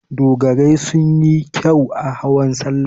Dogarai sun yi kyau a hawan salla.